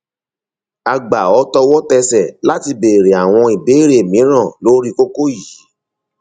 a gbà ọ tọwọtẹsẹ láti béèrè àwọn ìbéèrè mìíràn lórí kókó yìí